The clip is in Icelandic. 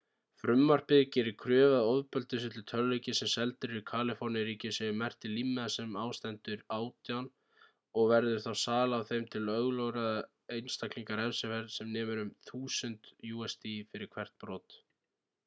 frumvarpið gerir kröfu um að ofbeldisfullir tölvuleikir sem seldir eru í kaliforníu-ríki séu merktir límmiða sem á stendur 18 og verður þá sala á þeim til ólögráða einstaklinga refsiverð sem nemur 1000 usd fyrir hvert brot